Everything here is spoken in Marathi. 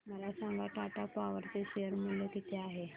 मला सांगा टाटा पॉवर चे शेअर मूल्य किती आहे